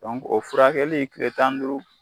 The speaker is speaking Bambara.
o furakɛli kile tan ni duuru.